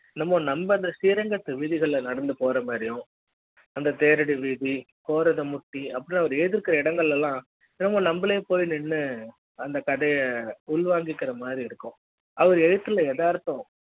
நம்ப ஸ்ரீரங்க வீதிகள்ல நடந்து போற மாதிரியும் அந்த தேரடி வீதி கோரத முத்திஅப்படி அவரு எழுத்திருக்கிற இடங்களெல்லாம் ரொம்ப நம்பலே போய் நின்னு அந்த கதைய உள்வாங்கி அவர் எழுத்துல எதார்த்தம்